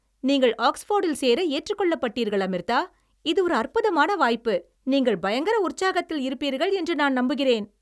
நீங்கள் ஆக்ஸ்போர்டில் சேர ஏற்றுக்கொள்ளப்பட்டீர்கள், அமிர்தா! இது ஒரு அற்புதமான வாய்ப்பு, நீங்கள் பயங்கர உற்சாகத்தில் இருப்பீர்கள் என்று நான் நம்புகிறேன்.